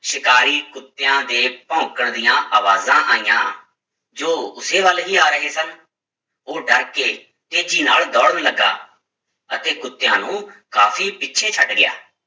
ਸ਼ਿਕਾਰੀ ਕੁੱਤਿਆਂ ਦੇ ਭੋਂਕਣ ਦੀਆਂ ਆਵਾਜ਼ਾਂ ਆਈਆਂ, ਜੋ ਉਸੇ ਵੱਲ ਹੀ ਆ ਰਹੇ ਸਨ, ਉਹ ਡਰ ਕੇ ਤੇਜ਼ੀ ਨਾਲ ਦੌੜਨ ਲੱਗਾ ਅਤੇ ਕੁੁੱਤਿਆਂ ਨੂੰ ਕਾਫ਼ੀ ਪਿੱਛੇ ਛੱਡ ਗਿਆ।